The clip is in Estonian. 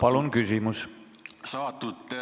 Palun küsimust!